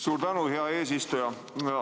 Suur tänu, hea eesistuja!